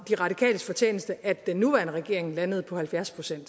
de radikales fortjeneste at den nuværende regering landede på halvfjerds pct